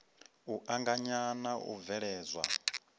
u anganya na u bveledzwa